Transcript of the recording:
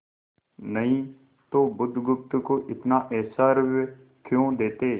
नहीं तो बुधगुप्त को इतना ऐश्वर्य क्यों देते